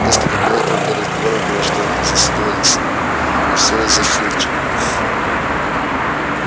несколько дней только и разговоров было что о миссис норрис и всё из-за филча